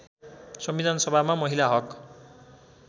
संविधानसभामा महिला हक